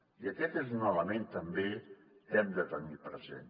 i aquest és un element també que hem de tenir present